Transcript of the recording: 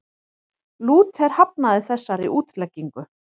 Lúther hafnaði þessari útleggingu.